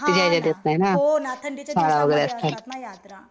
हा ना. हो ना. थंडीच्या दिवसांमध्ये असतात यात्रा.